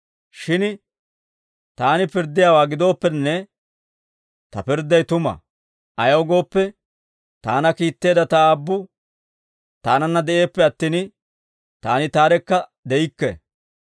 Shin Taani pirddiyaawaa gidooppenne, Ta pirdday tuma; ayaw gooppe, Taana kiitteedda Ta Aabbu Taananna de'eeppe attin, Taani Taarekka de'ikke.